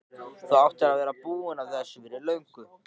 Og þú áttir að vera búinn að þessu fyrir löngu!